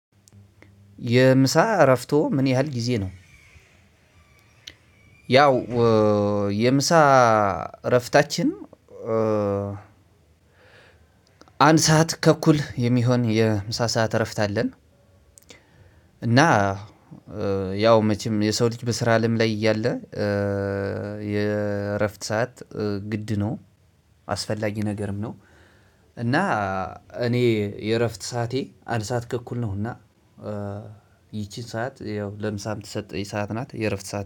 የምሳ እረፍቶ ምን ያህል ጊዜ ነው? ያው የምሳ እረፍታችን አንድ ሰዓት ተኩል የሚሆን የምሳ ሰዓት እረፍት አለን። እና ያው መቼም የሰው ልጅ በስራ አለም ላይ እያለ የእረፍት ሰዓት ግድ ነው አስፈላጊ ነገርም ነው። እና እኔ የእረፍት ሰዓቴ አንድ ሰዓት ተኩል ነው እና ሰዓት ያው ለምሳ የምትሰጠው ሰዓት ናት። የእረፍት ሰዓት